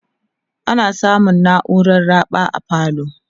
ana samun nauran raɓa a falo